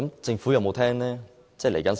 政府有否聽取意見？